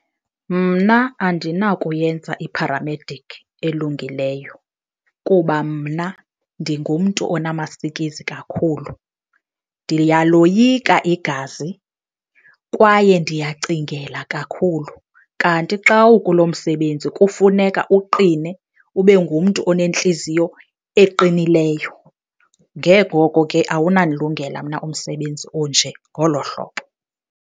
Mna andinakuyenza i-paramedic elungileyo kuba mna ndingumntu onamasikizi kakhulu, ndiyaloyika igazi kwaye ndiyacingela kakhulu. Kanti xa ukulo msebenzi kufuneka uqine, ube ngumntu onentliziyo eqinileyo, nge ngoko ke awunandilungela mna umsebenzi onje ngolo hlobo.